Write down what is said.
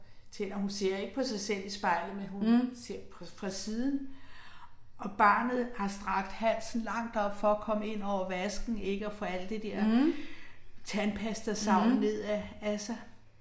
Mh. Mh. Mh